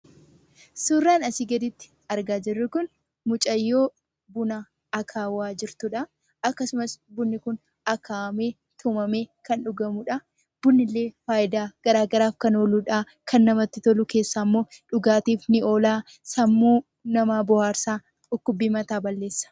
Suuraan asii gaditti argaa jirru kun mucayyoo buna akaawaa jirtudha. Akkasumas bunni kun akaawamee, tumamee kan dhugamudha. Bunni illee faayidaa garaa garaaf kan ooludha. Kan namatti tolu keessaa immoo dhugaatiif ni oola, sammuu namaa bohaarsa, dhukkubbii mataa balleessa.